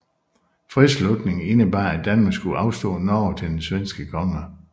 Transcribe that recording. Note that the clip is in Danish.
Fredsslutningen indebar at Danmark skulle afstå Norge til den Svensk konge